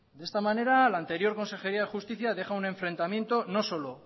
de esta manera la anterior consejería de justicia deja un enfrentamiento no solo